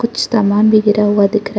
कुछ समान भी गिरा हुआ दिख रहा--